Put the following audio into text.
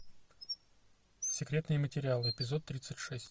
секретные материалы эпизод тридцать шесть